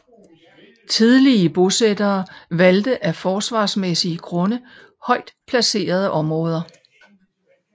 Tidlige bosættere valgte af forsvarsmæssige grunde højt placerede områder